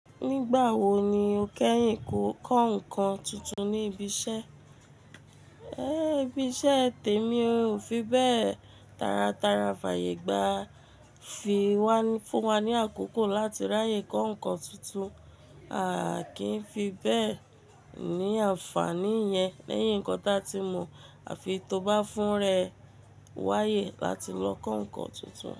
Nígbà wo ni o kẹ́yìn kọ́ nǹkan tuntun ní ibi iṣẹ́? Ẹ́, ibi iṣẹ́ tèmi ò fi bẹ́ẹ̀. Tára tára fàyè gba fún wa ní àkókò láti ráyè kọ́ nǹkan tuntun. A kì í fi bẹ́ẹ̀ ní àǹfààní yẹn lẹ́yìn nǹkan tí a ti mọ̀. A fi tó bá fún rẹ wáyé láti lọ kọ́ nǹkan tuntun.